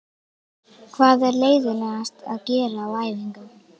Hvað er leiðinlegast að gera á æfingum?